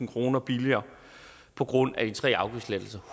kroner billigere på grund af de tre afgiftslettelser